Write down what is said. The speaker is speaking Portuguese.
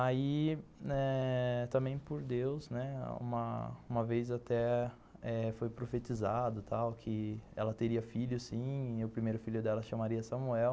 Aí, né, também por Deus, uma vez até foi profetizado e tal que ela teria filho e o primeiro filho dela se chamaria Samuel.